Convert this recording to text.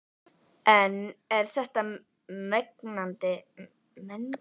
En er þetta mengandi?